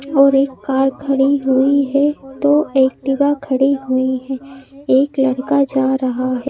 और एक कार खड़ी हुई है दो एक्टिवा खड़ी हुई है एक लड़का जा रहा है।